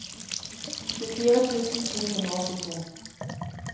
tjuefire tusen to hundre og åttito